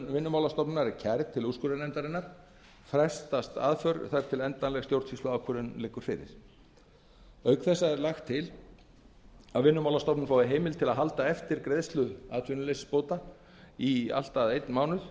vinnumálastofnunar er kærð til úrskurðarnefndarinnar frestast aðför þar til endanleg stjórnsýsluákvörðun liggur fyrir auk þessa er lagt til að vinnumálastofnun fái heimild til að halda eftir greiðslu atvinnuleysisbóta í allt að einn mánuð